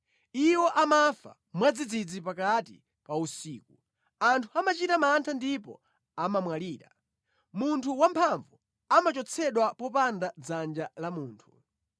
Iwo amafa mwadzidzidzi, pakati pa usiku; anthu amachita mantha ndipo amamwalira; munthu wamphamvu amachotsedwa popanda dzanja la munthu.